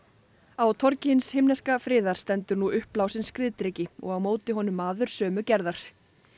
á torgi hins himneska friðar stendur nú uppblásinn skriðdreki og á móti honum maður sömu gerðar